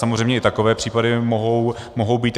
Samozřejmě i takové případy mohou být.